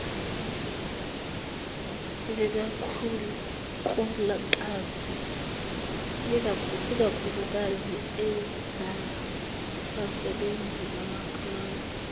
ikakhuklukazi ezabasebenzi bamapulazi